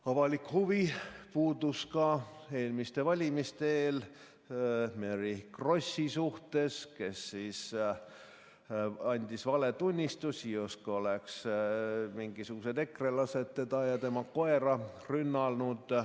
Avalik huvi puudus ka eelmiste valimiste eel Mary Krossi vastu, kes andis valetunnistusi, justkui oleks mingisugused ekrelased teda ja tema koera rünnanud.